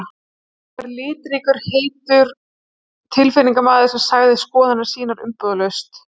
Hann var litríkur og heitur tilfinningamaður sem sagði skoðanir sínar umbúðalaust.